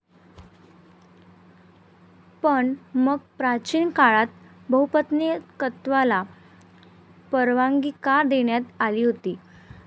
पण मग, प्राचीन काळात बहुपत्नीकत्वाला परवानगी का देण्यात आली होती?